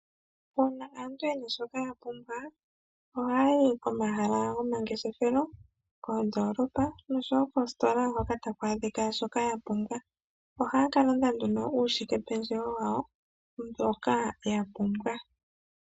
Uuna aantu yena shoka yapumbwa ohaya yi komahala gomangefeshelo, koondolopa noshowoo koositola hoka taku adhika shoka yapumbwa, oha yaka landa nduno uushikependjewo wawo mboka yapumbwa.